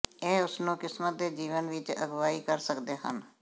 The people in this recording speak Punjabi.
ਇਹ ਉਸ ਨੂੰ ਕਿਸਮਤ ਦੇ ਜੀਵਨ ਵਿੱਚ ਅਗਵਾਈ ਕਰ ਸਕਦੇ ਹਨ